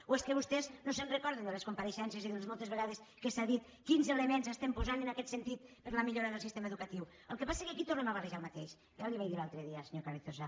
o és que vostès no es recorden de les compareixences i de les moltes vegades que s’han dit quins elements estem posant en aquest sentit per a la millora del sistema educatiu el que passa que aquí tornem a barrejar el mateix ja li ho vaig dir l’altre dia senyor carrizosa